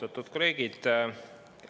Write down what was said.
Austatud kolleegid!